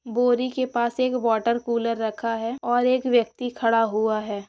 बोरिके पास एक water cooler रखा है और एक व्यक्ति खड़ा हुआ है।